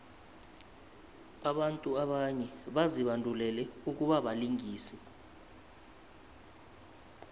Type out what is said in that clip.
abantu abanye bazibandulele ukubabalingisi